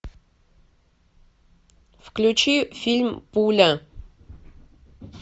включи фильм пуля